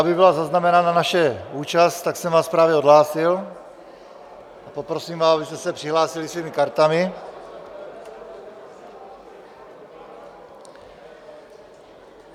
Aby byla zaznamenána naše účast, tak jsem vás právě odhlásil a poprosím vás, abyste se přihlásili svými kartami.